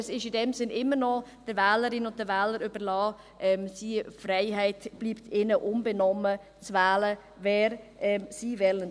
Es ist in dem Sinn immer noch den Wählerinnen und Wählern überlassen, diese Freiheit bleibt ihnen unbenommen, zu wählen, wen sie wollen.